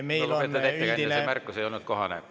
Lugupeetud ettekandja, see märkus ei olnud kohane.